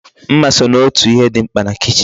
Mma so n'otu ihe di mkpa na kichin